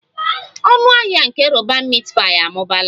Ọnụ ahịa nke roban meat pie amụbaala